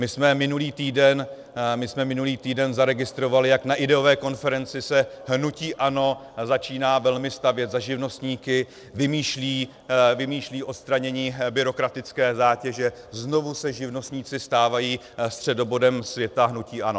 My jsme minulý týden zaregistrovali, jak na ideové konferenci se hnutí ANO začíná velmi stavět za živnostníky, vymýšlí odstranění byrokratické zátěže, znovu se živnostníci stávají středobodem světa hnutí ANO.